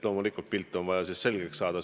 Loomulikult on vaja pilt selgeks saada.